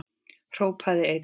Hrópaði einn: